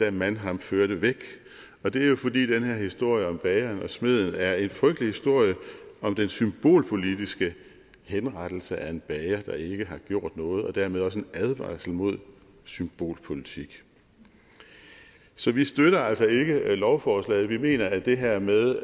da man ham førte væk det er jo fordi den her historie om bageren og smeden er en frygtelig historie om den symbolpolitiske henrettelse af en bager der ikke har gjort noget og dermed også en advarsel mod symbolpolitik så vi støtter altså ikke lovforslaget vi mener at det her med